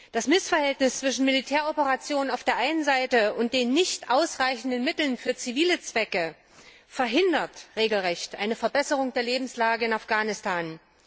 Das Missverhältnis zwischen Militäroperationen auf der einen Seite und den nicht ausreichenden Mitteln für zivile Zwecke andererseits verhindert regelrecht eine Verbesserung der Lebensverhältnisse in Afghanistan.